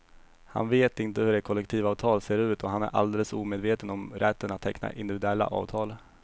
Han vet inte hur ett kollektivavtal ser ut och han är alldeles omedveten om rätten att teckna individuella avtal.